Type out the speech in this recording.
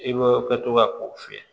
I bɛ kɛ to ka ko fiyɛ